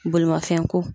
Bolimafɛn ko